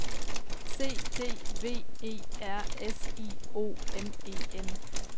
C D V E R S I O N E N